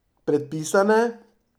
Predpisane?